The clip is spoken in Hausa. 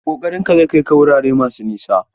Ƙoƙarinka zai kai ka wurare masu nisa.